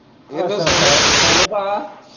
ਅੱਛਾ ਅੱਛਾ ਸੋਨੂ ਭਾਅ।